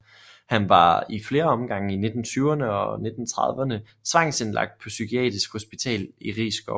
Han var i flere omgange i 1920erne og 1930erne tvangsindlagt på Psykiatrisk hospital i Risskov